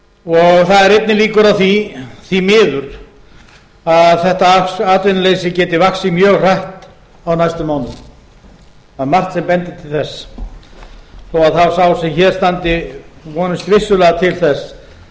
og það eru einnig líkur á því því miður að þetta atvinnuleysi geti vaxið mjög hratt á næstu mánuðum það er margt sem bendir til þess þó sá sem hér standi vonist vissulega til þess